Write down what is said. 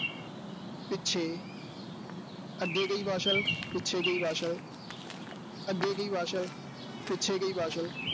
ਪਿੱਛੇ ਅੱਗੇ ਗਈ ਵਾਸ਼ਲ, ਪਿੱਛੇ ਗਈ ਵਾਸ਼ਲ ਅੱਗੇ ਗਈ ਵਾਸ਼ਲ ਪਿੱਛੇ ਗਈ ਵਾਸ਼ਲ